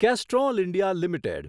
kestrel India limited